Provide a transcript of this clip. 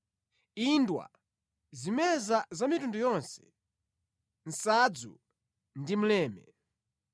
indwa, zimeza za mitundu yonse, nsadzu ndi mleme.